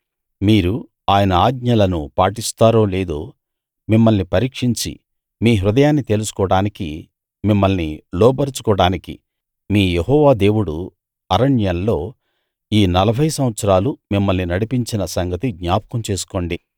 మీరు ఆయన ఆజ్ఞలను పాటిస్తారో లేదో మిమ్మల్ని పరీక్షించి మీ హృదయాన్ని తెలుసుకోడానికీ మిమ్మల్ని లోబరచుకోడానికీ మీ యెహోవా దేవుడు అరణ్యంలో ఈ 40 సంవత్సరాలు మిమ్మల్ని నడిపించిన సంగతి జ్ఞాపకం చేసుకోండి